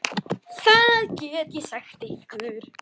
Það get ég sagt ykkur.